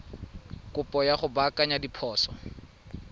kopo ya go baakanya diphoso